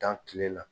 Dan kile la